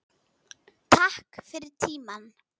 Takk fyrir tímann.